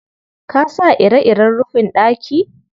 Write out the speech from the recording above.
Ka sa ire-iren rufin ɗaki?